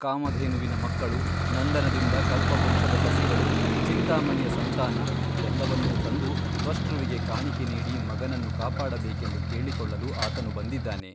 ಕಾಮಧೇನುವಿನ ಮಕ್ಕಳು ನಂದನದಿಂದ ಕಲ್ಪವೃಕ್ಷದ ಸಸಿಗಳು ಚಿಂತಾಮಣಿಯ ಸಂತಾನ ಎಲ್ಲವನ್ನೂ ತಂದು ತ್ವಷ್ಟೃವಿಗೆ ಕಾಣಿಕೆ ಮಾಡಿ ಮಗನನ್ನು ಕಾಪಾಡಬೇಕೆಂದು ಕೇಳಿಕೊಳ್ಳಲು ಆತನು ಬಂದಿದ್ದಾನೆ.